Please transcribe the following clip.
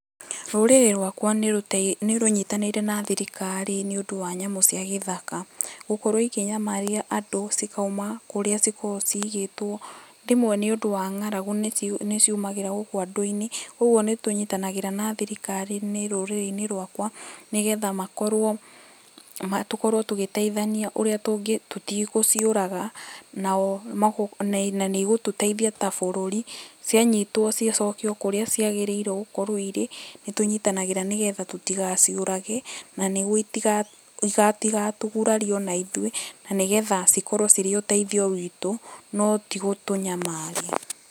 Rũrĩrĩ rwakwa nĩ rũtei nĩ rũnyitanĩire na thirikari nĩ ũndũ wa nyamũ cia gĩthaka, gũkorwo ikĩnyamaria andũ cikauma kũrĩa cikogwo ciigĩtwo. Rĩmwe nĩ ũndũ wa ng'aragu nĩ ciu nĩ ciumagĩra gũkũ andũ-inĩ ũguo nĩ tũnyitanagĩra na thirikari nĩ rũrĩrĩ-inĩ rwakwa nĩ getha makorwo ma tũkorwo tũgiteithania ũrĩa tũngĩ tũti gũciũraga nao na nĩgũtũteithia ta bũrũri cianyitwo cicokio kũrĩa ciagĩrĩrwo gũkorwo irĩ. Nĩ tũnyitanagĩra nĩ getha tũtigaciũrage na nĩguo itiga itiga citigatũgurarie ona ithuĩ na nĩ getha cikorwo cirĩ ũteithio witũ, no ti gũtũnyamaria.